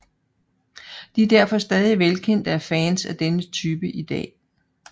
De er derfor stadig velkendte af fans af denne type i dag